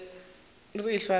re be re ehlwa re